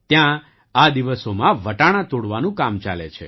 ત્યાં આ દિવસોમાં વટાણા તોડવાનું કામ ચાલે છે